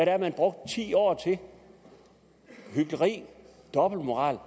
er man brugte ti år til hykleri dobbeltmoral